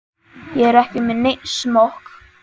Ég er ekki með neinn smokk.